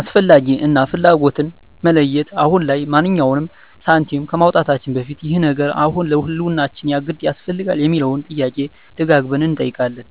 "አስፈላጊ" እና "ፍላጎት"ን መለየት፦ አሁን ላይ ማንኛውንም ሳንቲም ከማውጣታችን በፊት "ይህ ነገር አሁን ለህልውናችን የግድ ያስፈልጋል?" የሚለውን ጥያቄ ደጋግመን እንጠይቃለን።